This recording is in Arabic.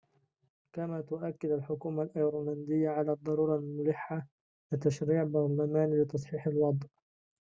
كما تؤكّد الحكومة الأيرلندية على الضرورة الملحّة لتشريعٍ برلمانيٍ لتصحيح الوضع